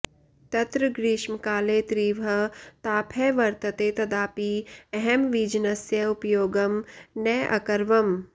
तत्र ग्रीष्मकाले तीव्रः तापः वर्तते तदापि अहं वीजनस्य उपयोगं न अकरवम्